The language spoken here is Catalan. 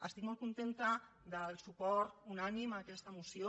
estic molt contenta del suport unànime a aquesta moció